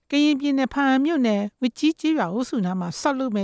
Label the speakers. Speaker 1: ကရင်ပြည်နယ် ဘားအံမြို့နယ် ဝတ်ကြီးကျေးရွာအုပ်စုနားမှာ ဆောက်လုပ်မ